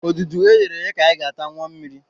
Odudu e ghere eghe ka anyị ga-ata, ṅụọ mmiri